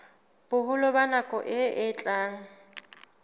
boholo ba nako e etsang